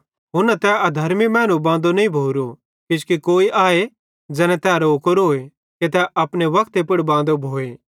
हुन्ना तै अधर्मी मैनू बांदो नईं भोरो किजोकि कोई आए ज़ैने तै रोकोरोए कि तै अपने वक्ते पुड़ बांदो भोए